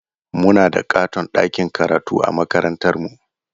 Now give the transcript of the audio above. Muna da ƙaton ɗakin karatu a makarantarmu.